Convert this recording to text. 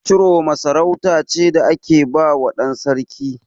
Ciroma sarauta ce da ake bawa ɗan sarki.